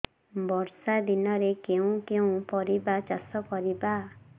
ବର୍ଷା ଦିନରେ କେଉଁ କେଉଁ ପରିବା ଚାଷ କରିବା